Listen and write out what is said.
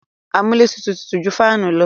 Amúlétutù tutù ju fáànù lọ.